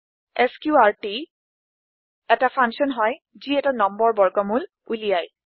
এছক্ৰুটি এটা ফাংছন হয় যি এটা নম্বৰ বৰ্গমূল উলিয়ায়